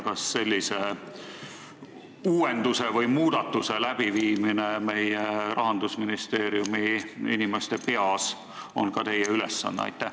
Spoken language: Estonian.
Kas sellise uuenduse või muudatuse tegemine meie Rahandusministeeriumi inimeste peas on ka teie ülesanne?